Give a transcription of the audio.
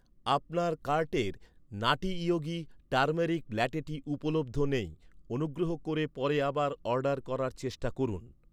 আপনার কার্টের নাটি ইয়োগি টারমেরিক ল্যাটেটি উপলব্ধ নেই, অনুগ্রহ করে পরে আবার অর্ডার করার চেষ্টা করুন।